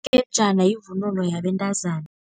Yivunulo yabentazana.